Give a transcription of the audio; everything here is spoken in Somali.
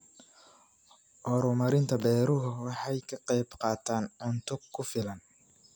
Horumarinta beeruhu waxay ka qaybqaataan cunto ku filan.